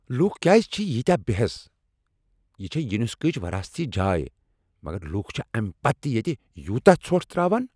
لوٗکھ کیٛاز چھ ییٖتیٛاہ بےٚحٮ۪س؟ یہ چھےٚ یونیسکو ہٕچ وراثتی جاے مگر لوٗکھ چھ امہ پتہٕ تہ ییٚتہ یوٗتاہ ژھۄٹھ ترٛاوان۔